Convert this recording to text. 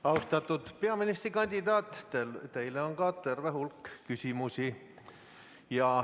Austatud peaministrikandidaat, teile on ka terve hulk küsimusi.